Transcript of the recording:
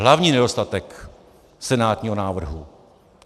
Hlavní nedostatek senátního návrhu.